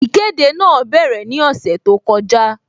Ìkéde náà bẹ̀rẹ̀ ní ọ̀sẹ̀ tó kọjá